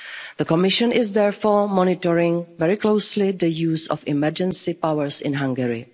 EU values. The Commission is, therefore, monitoring very closely the use of emergency powers in